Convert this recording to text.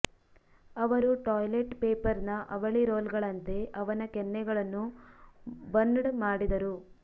ಅವರು ಟಾಯ್ಲೆಟ್ ಪೇಪರ್ನ ಅವಳಿ ರೋಲ್ಗಳಂತೆ ಅವನ ಕೆನ್ನೆಗಳನ್ನು ಬನ್ಡ್ ಮಾಡಿದರು